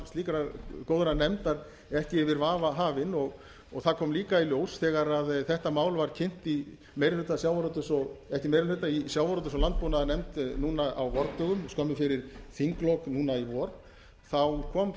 slíkrar góðrar nefndar ekki yfir vafa hafin það kom líka í ljós þegar þetta mál var kynnt í meiri hluta sjávarútvegs og landbúnaðarnefnd núna á vordögum skömmu fyrir þinglok núna í vor þá kom